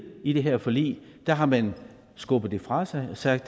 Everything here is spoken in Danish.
i det her forlig der har man skubbet det fra sig og sagt